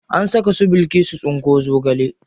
An saka su bilkisu tsinko zogale.